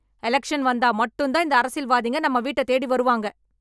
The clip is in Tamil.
எலெக்ஷன் வந்தா மட்டும் தான் இந்த அரசியல்வாதிங்க நம்ம வீட்ட தேடி வருவாங்க.